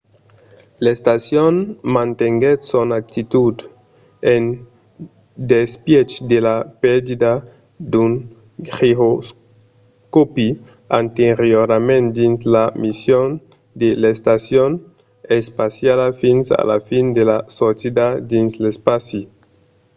l'estacion mantenguèt son actitud en despièch de la pèrdia d'un giroscòpi anteriorament dins la mission de l'estacion espaciala fins a la fin de la sortida dins l'espaci